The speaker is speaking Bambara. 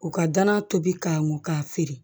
U ka dana tobi k'an kun k'a feere